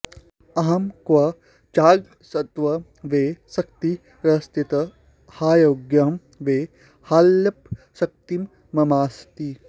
अहं क्व चाज्ञस्तव वै शक्तिरस्ति ह्यज्ञोहं वै ह्यल्पशक्तिर्ममास्ति